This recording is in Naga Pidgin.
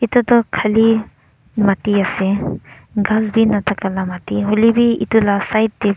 edu toh Khali mati ase ghas bi nathaka laka mati hoilae bi edu la side te --